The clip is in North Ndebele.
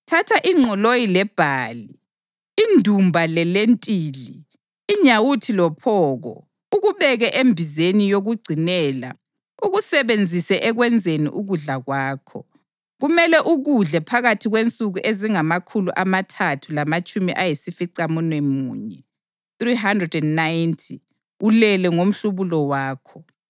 Thatha ingqoloyi lebhali, indumba lelentili, inyawuthi lophoko; ukubeke embizeni yokugcinela ukusebenzise ekwenzeni ukudla kwakho. Kumele ukudle phakathi kwensuku ezingamakhulu amathathu lamatshumi ayisificamunwemunye (390) ulele ngomhlubulo wakho.